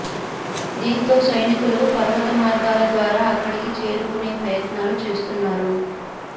దీంతో సైనికులు పర్వత మార్గాల ద్వారా అక్కడికి చేరుకునే ప్రయత్నాలు చేస్తున్నారు